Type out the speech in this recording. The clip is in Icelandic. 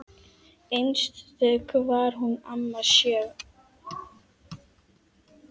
Einstök var hún amma Sjöfn.